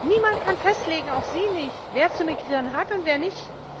Niemand kann festlegen, auch Sie nicht, wer zu migrieren hat und wer nicht.